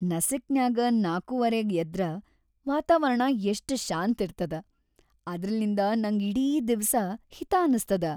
ನಸಿಕ್‌ನ್ಯಾಗ್‌ ನಾಕೂವರಿಗ್‌ ಎದ್ರ ವಾತಾವರಣ ಎಷ್ಟ ಶಾಂತಿರ್ತದ, ಅದ್ರ್ಲಿಂ‌ದ ನಂಗ್ ಇಡೀ‌ ದಿವ್ಸ ಹಿತಾ ಅನಸ್ತದ.